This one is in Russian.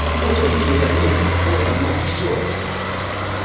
вот он гедонизм вот оно все